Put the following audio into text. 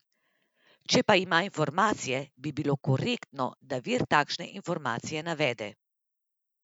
Če pa ima informacije, bi bilo korektno, da vir takšne informacije navede.